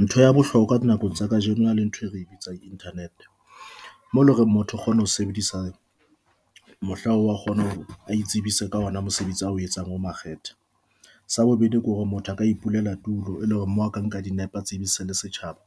Ntho ya bohlokwa nakong tsa kajeno a le ntho e re bitsang internet mole hore motho kgona ho sebedisa mohla wa kgona ho itsebisa ka ona. Mosebetsi o etsang o makgethe sa bobedi, ke hore motho a ka ipulela tulo, e leng hore mo aka nka di nepa tse be se le setjhaba